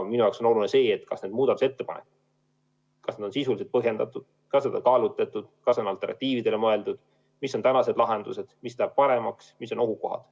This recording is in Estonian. Minu jaoks on oluline see, kas muutmise ettepanekud on sisuliselt põhjendatud, kas need on kaalutletud, kas on alternatiividele mõeldud, mis on praegused lahendused, mis läheb paremaks, mis on ohukohad.